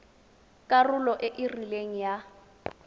karolo e e rileng ya